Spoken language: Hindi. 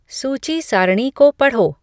सूची सारणी को पढ़ो